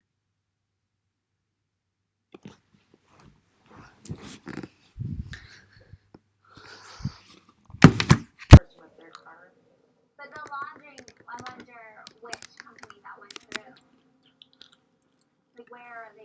fe wnaethon nhw i gyd redeg yn ôl o'r man lle digwyddodd y ddamwain